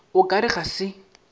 o ka re ga se